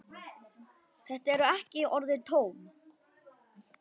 Þetta eru ekki orðin tóm.